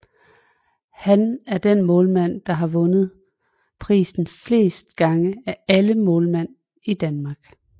Han er den målmand der har vundet prisen flest gange af alle målmænd i Danmark